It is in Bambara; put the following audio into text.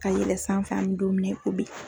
Ka yɛlɛn sanfɛ an mɛ don min na i ko bi.